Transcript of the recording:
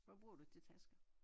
Hvad bruger du til tasker?